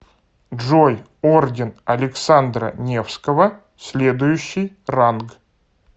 джой орден александра невского следующий ранг